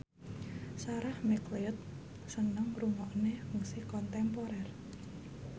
Sarah McLeod seneng ngrungokne musik kontemporer